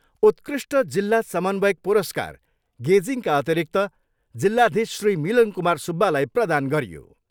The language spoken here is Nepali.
उत्कृष्ट जिल्ला समन्वयक पुरस्कार, गेजिङका अतिरिक्त जिल्लाधीश श्री मिलन कुमार सुब्बालाई प्रदान गरियो।